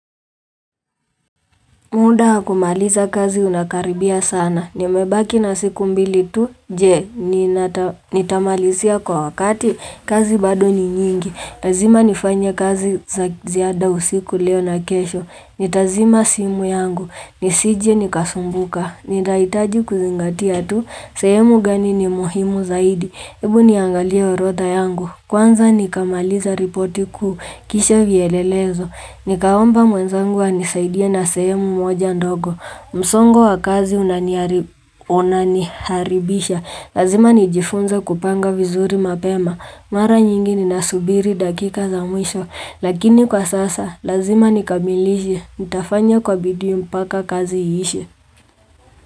Muda wa hakumaliza kazi unakaribia sana. Nimebaki na siku mbili tu. Je, ni tamalizia kwa wakati kazi bado ni nyingi. Lazima nifanye kazi za ziada usiku leo na kesho. Nitazima simu yangu. Nisije nikasumbuka. Nitaitaji kuzingatia tu. Sehemu gani ni muhimu zaidi. Ebu niangalie orodha yangu. Kwanza nikamaliza ripoti kuu. Kisha vielelezo. Nikaomba mwenzangu anisaidie na sehemu moja ndogo. Msongo wa kazi unaniharibisha. Lazima nijifunze kupanga vizuri mapema. Mara nyingi ninasubiri dakika za mwisho. Lakini kwa sasa, lazima nikamilishe. Nitafanya kwa bidii mpaka kazi iishe.